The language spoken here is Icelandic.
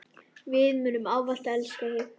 Við munum ávallt elska þig.